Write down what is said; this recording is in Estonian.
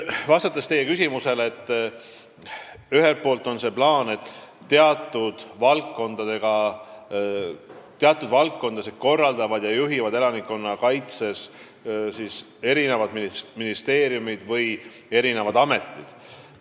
Vastates teie küsimusele selgitan, et plaani kohaselt korraldavad ja juhivad teatud valdkondades elanikkonnakaitset ministeeriumid või ametid.